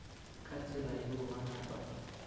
ka tsela yeo ba napa